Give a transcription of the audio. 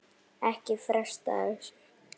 Ekki fresta þessu